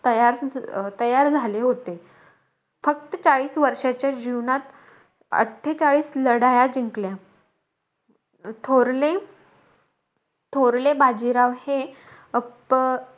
तयार-तयार झाले होते. फक्त चाळीस वर्षाच्या जीवनात, अट्ठेचाळीस लढाया जिंकल्या. थोरले थोरले बाजीराव हे अप,